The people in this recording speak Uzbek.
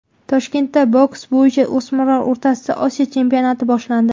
Toshkentda boks bo‘yicha o‘smirlar o‘rtasidagi Osiyo chempionati boshlandi.